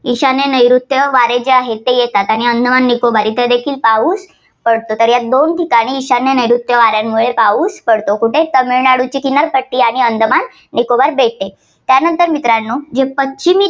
ईशान्य नैऋत्य वारे जे आहे ते येतात आणि अंदमान निकोबार इथं देखील पाऊस पडतो. तर या दोन ठिकाणी ईशान्य नैऋत्यू वाऱ्यांमुळे पाऊस पडतो. कुठे तामिळनाडूची किनारपट्टी आणि अंदमान निकोबार बेटे. त्यानंतर मित्रांनो पश्चिमी